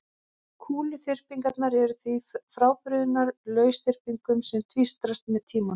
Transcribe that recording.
Kúluþyrpingarnar eru því frábrugðnar lausþyrpingum sem tvístrast með tímanum.